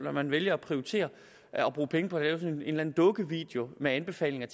at man vælger at prioritere at bruge penge på en en dukkevideo med anbefalinger